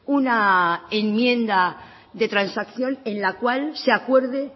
una enmienda de transacción en la cual se acuerde